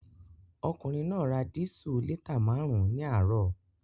Ọkùnrin náà ra dísù lítà márùn-ún ní àárọ̀